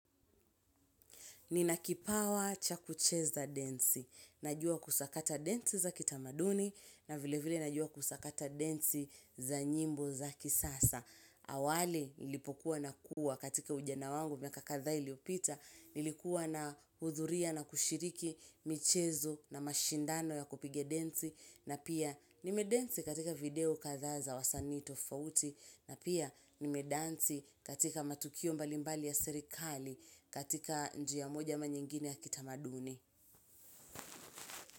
Nina kipawa cha kucheza densi. Najua kusakata densi za kitamaduni na vile vile najua kusakata densi za nyimbo za kisasa. Awali nilipokuwa nakuwa katika ujana wangu miaka kadha iliopita. Nilikuwa nahudhuria na kushiriki michezo na mashindano ya kupiga densi. Na pia nime densi katika video katha za wasanii tofauti. Na pia nimedansi katika matukio mbalimbali ya serikali katika njia moja ama nyingine ya kitamaduni.